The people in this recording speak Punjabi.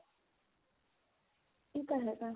ਇਹ ਤਾਂ ਹੈਗਾ